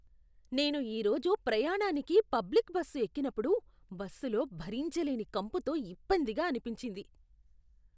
నేను ఈ రోజు ప్రయాణానికి పబ్లిక్ బస్సు ఎక్కినప్పుడు బస్సులో భరించలేని కంపుతో ఇబ్బందిగా అనిపించింది.